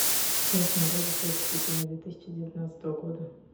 салют смотреть исторические фильмы две тысячи девятнадцатого года